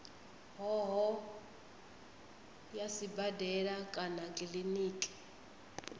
hoho ya sibadela kana kiliniki